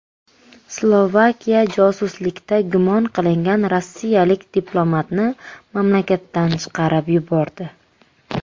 Slovakiya josuslikda gumon qilingan rossiyalik diplomatni mamlakatdan chiqarib yubordi.